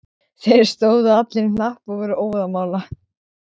Þeir stóðu allir í hnapp og voru óðamála.